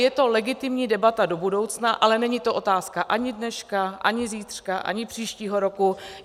Je to legitimní debata do budoucna, ale není to otázka ani dneška, ani zítřka, ani příštího roku.